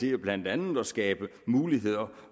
er jo blandt andet at skabe muligheder